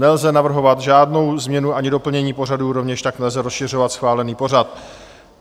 Nelze navrhovat žádnou změnu ani doplnění pořadu, rovněž tak nelze rozšiřovat schválený pořad.